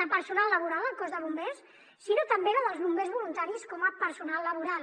de personal laboral al cos de bombers sinó també la dels bombers voluntaris com a personal laboral